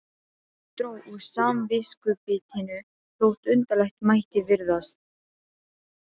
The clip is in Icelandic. Það dró úr samviskubitinu þótt undarlegt mætti virðast.